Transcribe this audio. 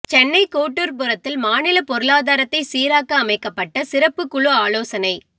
சென்னை கோட்டூர்புரத்தில் மாநில பொருளாதாரத்தை சீராக்க அமைக்கப்பட்ட சிறப்புக் குழு ஆலோசனை